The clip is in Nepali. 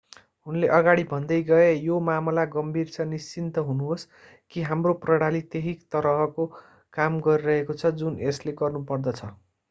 उनले अगाडि भन्दै गए यो मामला गम्भीर छ निश्चिन्त हुनुहोस् कि हाम्रो प्रणाली त्यही तरहको काम गरिरहेको छ जुन यसले गर्नुपर्दछ